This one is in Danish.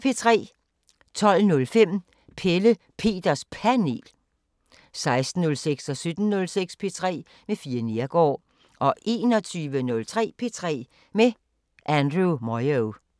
12:05: Pelle Peters Panel 16:06: P3 med Fie Neergaard 17:06: P3 med Fie Neergaard 21:03: P3 med Andrew Moyo